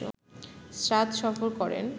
শাদ সফর করেন